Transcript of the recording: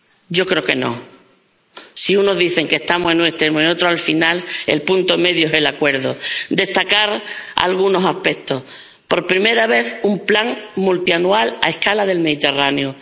Yo creo que no si unos dicen que estamos en un extremo, y otros en el otro, al final el punto medio es el acuerdo. Quisiera destacar algunos aspectos. Por primera vez, un plan multianual a escala del Mediterráneo.